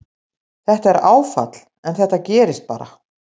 Þetta er áfall en þetta gerist bara.